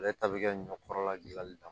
Ale ta bɛ kɛ ɲɔ kɔrɔla dilanli kan